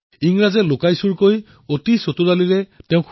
ইংৰাজসকলে তেওঁ শুই থকা অৱস্থাত অতিশয় চালাকিৰে কৰায়ত্ব কৰিছিল